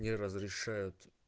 не разрешают